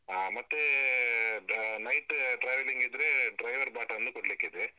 ಹಾ ಮತ್ತೆ night traveling ಇದ್ರೆ, driver BATA ವನ್ನು ಕೊಡ್ಲಿಕ್ಕೆ ಇದೆ.